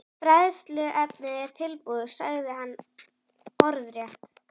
Fræðsluefnið er tilbúið, sagði hann orðrétt.